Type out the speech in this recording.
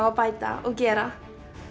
að bæta og gera